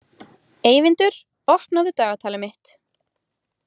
Eyvindur, opnaðu dagatalið mitt.